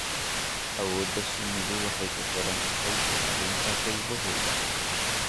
Awoodda shinnidu waxay kuxirantahay ilaalinta qaybahooda.